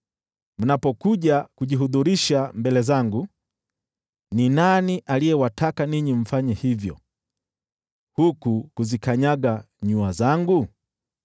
Mnapokuja kujihudhurisha mbele zangu, ni nani aliyewataka ninyi mfanye hivyo, huku kuzikanyaga nyua zangu?